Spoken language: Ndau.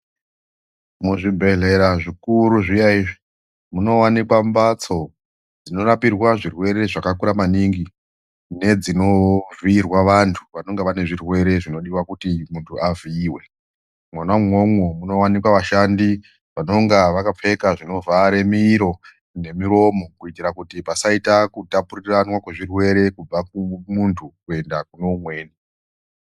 Muzvibhedhlera zvikuru zviya izvi, munowanikwa mbatso dzinorapirwa zvirwere zvakakura maningi, nedzinovhiyirwa vantu vanenge vanezvirwere zvinodiwa kuti muntu avhiyiwe. Mwona imwomwo munowanikwa vashandi vanonga vakapfeka zvinovhare miro nemuromo kuyitira kuti pasaita kutapurirwana zvirwere kubva kumuntu kuenda kunoumweni.